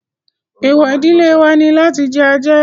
Èèwọ̀ ìdílé wa ni láti jẹ ajá